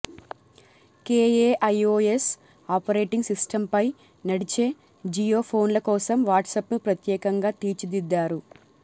KaiOS operating సిస్టమ్పై నడిచే జియో ఫోన్ల కోసం వాట్సప్ను ప్రత్యేకంగా తీర్చిదిద్దారు